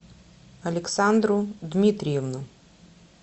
александру дмитриевну